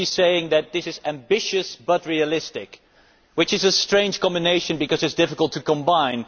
She is saying that this is ambitious but realistic, which is a strange combination, because it is difficult to combine.